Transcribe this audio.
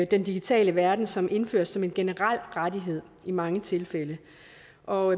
den digitale verden som indføres som en generel rettighed i mange tilfælde og